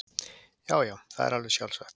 Já já, það er alveg sjálfsagt.